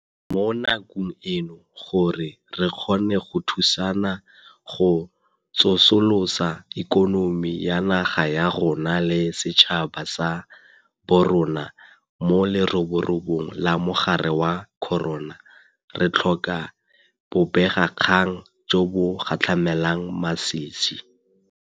Mo nakong eno gore re kgone go thusana go tsosolosa ikonomi ya naga ya rona le setšhaba sa borona mo leroborobong la mogare wa corona, re tlhoka bobegakgang jo bo gatlhamelang masisi.